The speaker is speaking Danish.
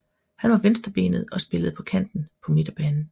Han var venstrebenet og spillede på kanten på midtbanen